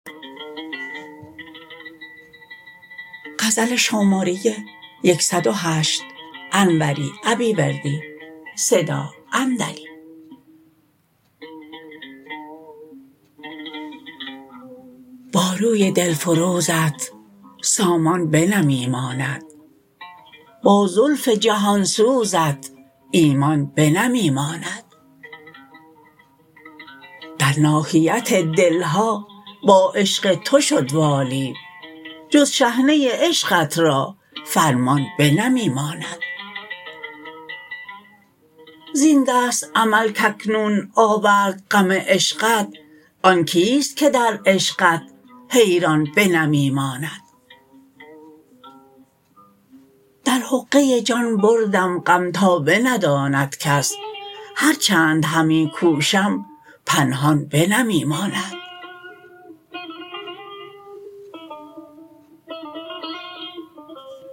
با روی دلفروزت سامان بنمی ماند با زلف جهان سوزت ایمان بنمی ماند در ناحیت دلها با عشق تو شد والی جز شحنه عشقت را فرمان بنمی ماند زین دست عمل کاکنون آورد غم عشقت آن کیست که در عشقت حیران بنمی ماند در حقه جان بردم غم تا بنداند کس هرچند همی کوشم پنهان بنمی ماند